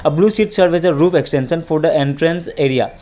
Blue shed are wheather roof extension for the entrance area.